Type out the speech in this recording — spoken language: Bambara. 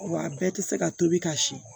Wa a bɛɛ tɛ se ka tobi ka si